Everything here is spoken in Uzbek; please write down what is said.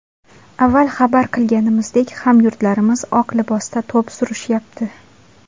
Avval xabar qilganimizdek hamyurtlarimiz oq libosda to‘p surishyapti.